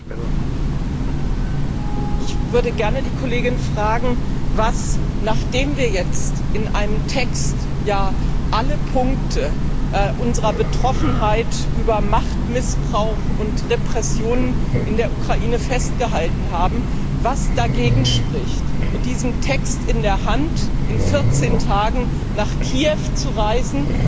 Herr Präsident! Ich würde gerne die Kollegin fragen Nachdem wir jetzt in einem Text alle Punkte unserer Betroffenheit über Machtmissbrauch und Repressionen in der Ukraine festgehalten haben, was spricht dagegen, mit diesem Text in der Hand in vierzehn Tagen nach Kiew zu reisen,